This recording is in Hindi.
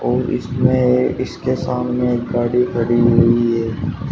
और इसमें इसके सामने एक गाड़ी खड़ी हुई है।